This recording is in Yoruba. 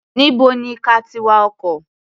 Níbo ni ka ti wa ọkọ̀?